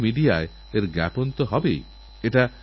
আপনারা কখনও আলিগড় গেলে স্টেশনটিনিশ্চয়ই দেখবেন